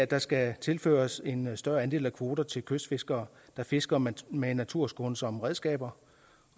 der skal tilføres en større andel af kroner til kystfiskere der fisker med med naturskånsomme redskaber